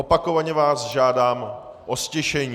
Opakovaně vás žádám o ztišení.